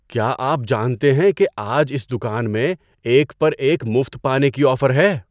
کیا آپ جانتے ہیں کہ آج اس دکان میں ایک پر ایک مفت پانے کی آفر ہے؟